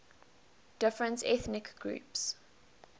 different ethnic groups